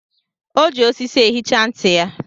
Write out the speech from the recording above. O ji osisi ehicha ntị ya.